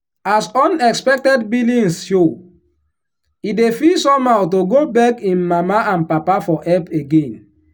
as unexpected billings show he dey feel somehow to go beg him mama and papa for help again.